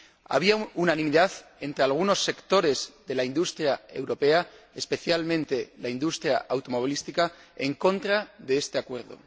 Había unanimidad entre algunos sectores de la industria europea, especialmente la industria automovilística, en contra de este Acuerdo.